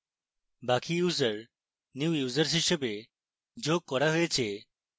বাকি users new users হিসাবে যোগ করা হয়েছে